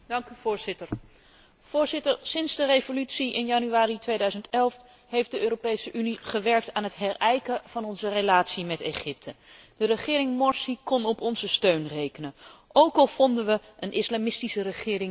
Sinds de revolutie in januari 2011 heeft de Europese Unie gewerkt aan het herijken van onze relatie met Egypte. De regering Morsi kon op onze steun rekenen, ook al vonden wij een islamistische regering niet het alleraantrekkelijkst.